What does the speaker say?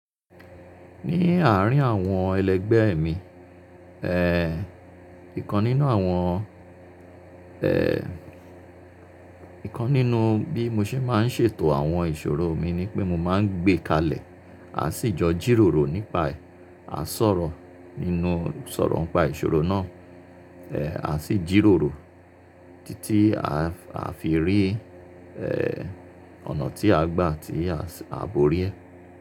Ní àárín àwọn ẹlẹgbẹ́ mi, ìkan nínú àwọn ẹ́ẹ̀, ìkan nínú bí mo ṣe máa ń ṣètò àwọn ìṣòro mi ni pé mo máa ń gbé kalẹ̀, a sì jọ jíròrò nípa ẹ̀, a sọ̀rọ̀ nínú sọ̀rọ̀ ọnpa ìṣòro náà, ẹ́ẹ̀, a sì jíròrò títí a fi rí, ọ̀nà tí a gbà tí a borí ẹ̀.